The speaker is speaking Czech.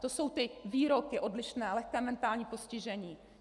To jsou ty výroky odlišné - lehké mentální postižení.